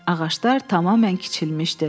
Ağaclar tamamilə kiçilmişdi.